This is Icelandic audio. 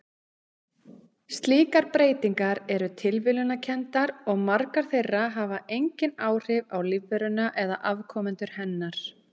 Slíkar breytingar eru tilviljunarkenndar og margar þeirra hafa engin áhrif á lífveruna eða afkomendur hennar.